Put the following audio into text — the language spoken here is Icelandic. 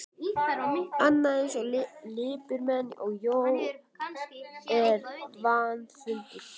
Annað eins lipurmenni og Jón er vandfundið.